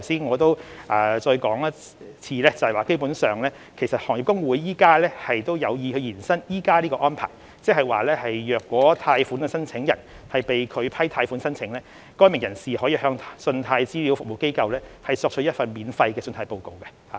我在此重申，行業公會有意延伸現行安排，即如果貸款申請人被拒批貸款申請，該名人士可向信貸資料服務機構索取一份免費的信貸報告。